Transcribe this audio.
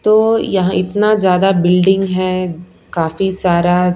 तो यहां इतना ज्यादा बिल्डिंग है काफी सारा--